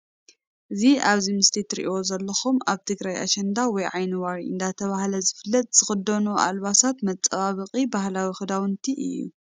እ ዚ ኣብ እዚ ምስሊ ትርእዎ ዘለኩም ኣብ ትግርይ ኣሸንዳ ወይ ዓይኒዋሪ እዳተብሃል ዝፍለጥ ዝተኸደኖኦ ኣልባሳት መፃባበቂ ባህላዊ ክዳውንቲ እዩ።